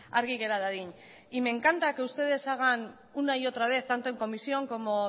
argi gera dadin y me encanta que ustedes hagan una y otra vez tanto en comisión como